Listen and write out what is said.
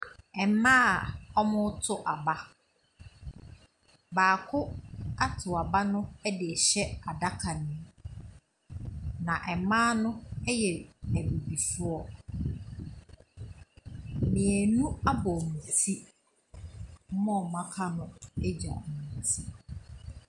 Mmaa a wɔreto aba, baako ato aba no de rehyɛ adaka ne mu, na mmaa no yɛ a abibifo, mmienu abɔ wɔn ti, wɔn a wɔaka no agya wɔn ti.